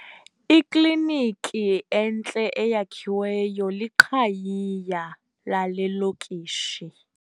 Iklinikhi entle eyakhiweyo liqhayiya lale lokishi.